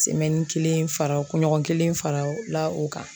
kelen fara kunɲɔgɔn kelen farala o kan